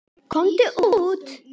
Komdu út!